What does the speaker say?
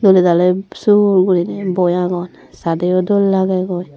dole dale sur gorinay boi agon sade o dol lagegoi.